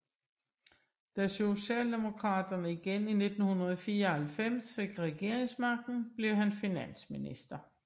Da Socialdemokraterne igen i 1994 fik regeringsmagten blev han finansminister